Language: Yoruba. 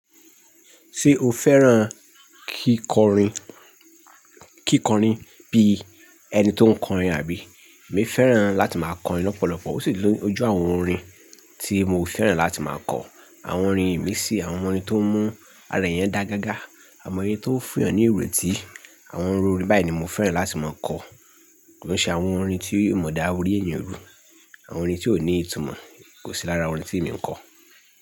Ṣé o fẹ́ràn kíkọrin, kíkọrin bí ẹni tó ń kọrin àbí? Emi fẹ́ràn láti máa kọrin lọ́pọ̀lọpọ̀. Ó sì lo o ojú àwọn orin tí mo fẹ́ràn láti máa kọ. Àwọn orin ìmiisì àwọn orin tó mú ara èèyàn dà gágá, àwon orin tó fún èèyàn ní ìrètí. Àwọn iru orin báyìí ni mo fẹ́ràn láti máa kọ. Kò se àwọn orin tí o ma dá orí èèyàn rù, àwọn orin tí ò ní ìtumọ̀ kò sí lára orin tí èmi ń kọ.